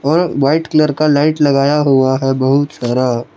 और white colour का light लगाया हुआ है बहुत सारा।